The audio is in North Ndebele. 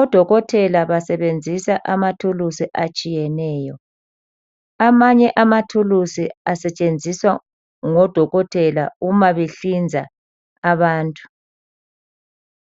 Odokotela basebenzisa amathulusi atshiyeneyo. Amanye amathulusi asetshenziswa ngodokotela nxa behlinza abantu.